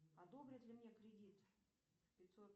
одобрят ли мне кредит пятьсот